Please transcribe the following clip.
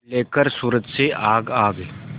लेकर सूरज से आग आग